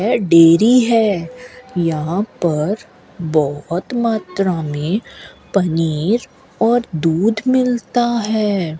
यह डेयरी है यहां पर बहुत मात्रा में पनीर और दूध मिलता है।